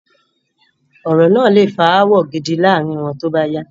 Ọ̀rọ̀ náà lé fa ááwọ̀ gidi láàárín wọn tóbáyá